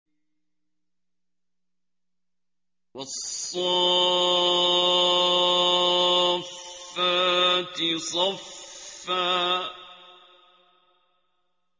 وَالصَّافَّاتِ صَفًّا